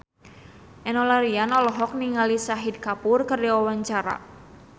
Enno Lerian olohok ningali Shahid Kapoor keur diwawancara